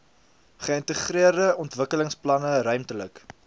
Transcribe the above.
geïntegreerde ontwikkelingsplanne ruimtelike